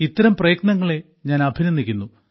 ഇത്തരം പ്രയത്നങ്ങളെ ഞാൻ അഭിനന്ദിക്കുന്നു